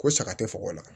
Ko saga tɛ kɔkɔ la